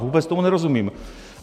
Vůbec tomu nerozumím.